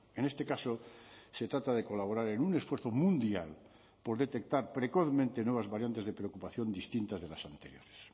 en este caso se trata de colaborar en un esfuerzo mundial por detectar precozmente nuevas variantes de preocupación distintas de las anteriores